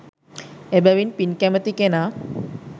එබැවින් පින් කැමති කෙනා